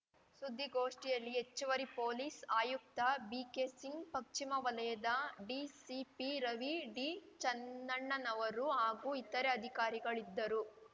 ಸುದ್ದಿಗೋಷ್ಠಿಯಲ್ಲಿ ಹೆಚ್ಚುವರಿ ಪೊಲೀಸ್‌ ಆಯುಕ್ತ ಬಿಕೆಸಿಂಗ್‌ ಪಶ್ಚಿಮ ವಲಯದ ಡಿಸಿಪಿ ರವಿ ಡಿ ಚೆನ್ನಣ್ಣನವರು ಹಾಗೂ ಇತರೆ ಅಧಿಕಾರಿಗಳು ಇದ್ದರು